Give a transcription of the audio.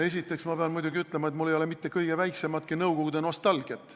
Esiteks pean ma muidugi ütlema, et mul ei ole mitte kõige väiksematki nõukogude nostalgiat.